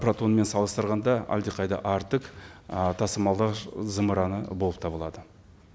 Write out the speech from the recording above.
протонмен салыстырғанда әлдеқайда артық ы тасымалдағыш зымыраны болып табылады